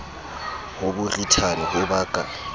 ho borithane ho ba ka